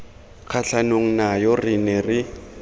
kgatlhanong nayo re ne re